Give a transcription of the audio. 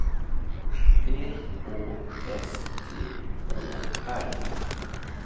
P Å S T Å R